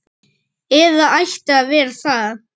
Eða ætti að vera það.